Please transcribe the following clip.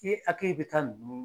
I hakili bɛ taa ninnu